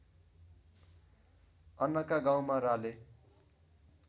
अन्नाका गाउँमा राले